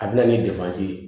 A bɛna ni ye